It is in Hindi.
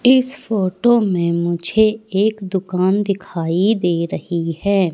इस फोटो में मुझे एक दुकान दिखाई दे रही है।